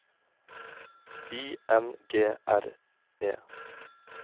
Y N G R E